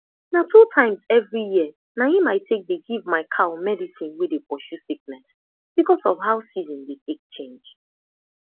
na two times every year na im i take dey give my cow medicine wey dey pursue sickness because of how season dey take change